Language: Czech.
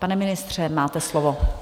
Pane ministře, máte slovo.